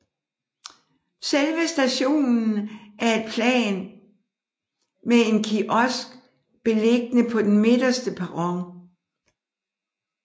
Selve stationen er i ét plan med en kiosk beliggende på den midterste perron